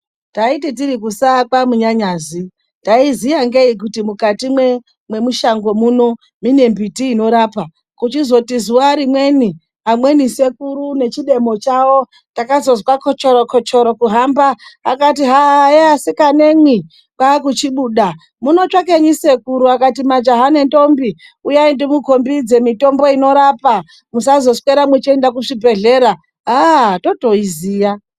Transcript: Taiti tiri kusaa kwaMunyanyazi, taiziya ngeyi kuti mukati mwemushango muno mune mimbiti inorapa. Kuchizoti zuwa rimweni amweni sekuru nechidemo chawo, takazozwa kochoro-kochoro kuhamba. Akati hayeee asikanemwi kwaakuchibuda. Munotsvakenyi sekuru? Akati majaha nendombi uyai ndimukhombidze mitombo inorapa musazoswera mweienda kuchibhedhlera, aaaah totoiziya.